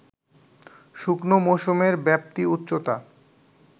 শুকনো মৌসুমের ব্যাপ্তি, উচ্চতা